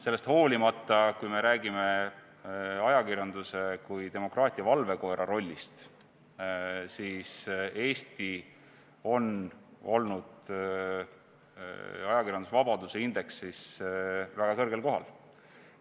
Sellest hoolimata, kui me räägime ajakirjanduse kui demokraatia valvekoera rollist, siis Eesti on olnud ajakirjandusvabaduse indeksis väga kõrgel kohal.